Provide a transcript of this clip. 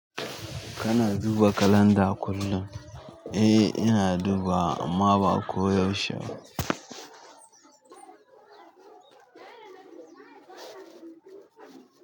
Kana duba kalanda kullum? Eh ina dubawa amma ba ko yaushe ba.